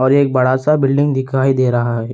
और एक बड़ा सा बिल्डिंग दिखाई दे रहा है।